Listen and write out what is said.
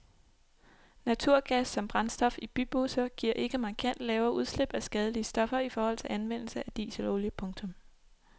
Naturgas som brændstof i bybusser giver ikke markant lavere udslip af skadelige stoffer i forhold til anvendelse af dieselolie. punktum